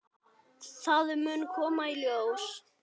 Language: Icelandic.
Það mun koma í ljós.